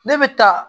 Ne bɛ taa